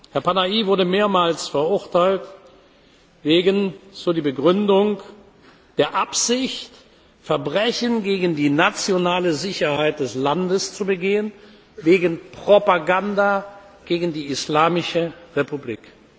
Herr Panahi wurde mehrmals verurteilt wegen, so die Begründung, der Absicht, Verbrechen gegen die nationale Sicherheit des Landes zu begehen, wegen Propaganda gegen die Islamische Republik.